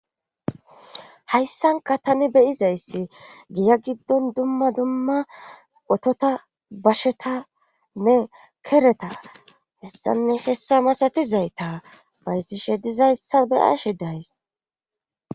Hayssanka tani beyizayssi giya giddon dumma dumma otota bashetanne kereta hessanne hessa masatizayta baysishe dizayssa beyashi days